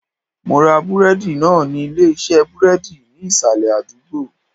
Mo ra búrédì náà ní Ilé isé búrédì ní ìsàlè àdúgbò